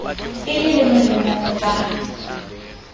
e le le molemong wa